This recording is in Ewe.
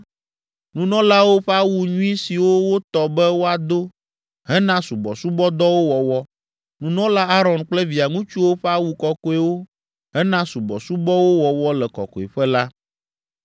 nunɔlawo ƒe awu nyui siwo wotɔ be woado hena subɔsubɔdɔwo wɔwɔ, nunɔla Aron kple via ŋutsuwo ƒe awu kɔkɔewo hena subɔsubɔwo wɔwɔ le Kɔkɔeƒe la.”